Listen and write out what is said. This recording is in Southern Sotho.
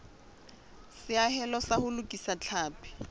seahelo sa ho lokisa tlhapi